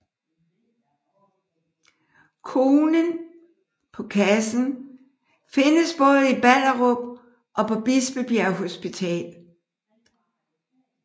Konen på kassen findes både i Ballerup og på Bispebjerg Hospital